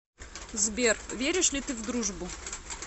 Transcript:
сбер веришь ли ты в дружбу